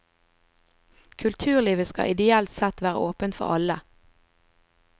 Kulturlivet skal ideelt sett være åpent for alle.